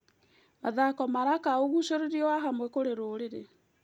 Mathako maraka ũgucĩrĩrio wa hamwe kũrĩ rũrĩrĩ.